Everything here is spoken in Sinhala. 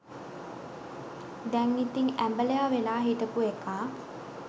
දැන් ඉතිං ඇඹලයා වෙලා හිටපු එකා